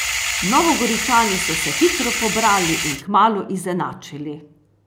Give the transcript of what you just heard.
Novogoričani so se hitro pobrali in kmalu izenačili.